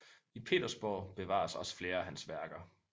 I Petersborg bevares også flere af hans værker